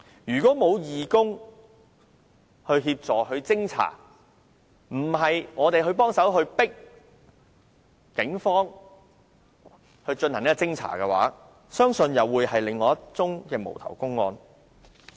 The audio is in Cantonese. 如果沒有義工協助和偵查，要不是我們協助催迫警方進行偵查的話，相信又會是另一宗無頭公案。